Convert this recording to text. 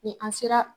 Ni an sera